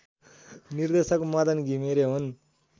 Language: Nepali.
निर्देशक मदन घिमिरे हुन्